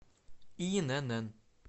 инн